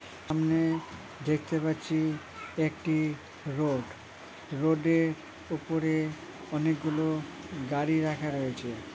সামনে দেখতে পাচ্ছি একটি রোড রোড -এর উপরে অনেক গুলো গাড়ি রাখা রয়েছে ।